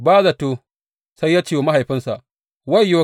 Ba zato sai ya ce wa mahaifinsa, Wayyo!